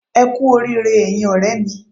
Ẹ kú oríire ẹyin ọ̀rẹ́ mi